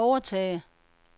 overtage